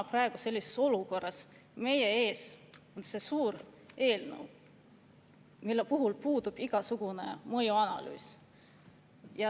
Me oleme praegu sellises olukorras, et meie ees on suur eelnõu, millel puudub igasugune mõjuanalüüs.